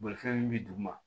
Bolifɛn min bi dugu ma